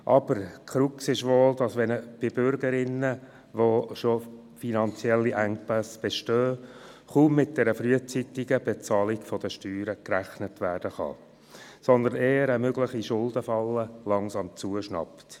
Die Krux ist wohl, dass wenn bei Bürgern bereits ein finanzieller Engpass besteht, kaum mit einer frühzeitigen Bezahlung gerechnet werden kann, sondern eher eine mögliche Schuldenfalle langsam zuschnappt.